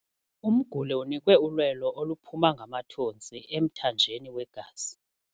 Umguli unikwe ulwelo oluphuma ngamathontsi emthanjeni wegazi.